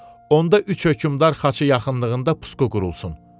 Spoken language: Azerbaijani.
onda üç hökmdar xaçı yaxınlığında pusqu qurulsun.